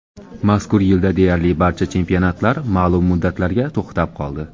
Mazkur yilda deyarli barcha chempionatlar ma’lum muddatlarga to‘xtab qoldi.